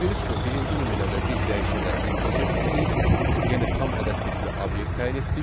Gördüyünüz kimi birinci nümunədə biz dəyişənə integer tipli, yəni tam ədəd tipli obyekt təyin etdik.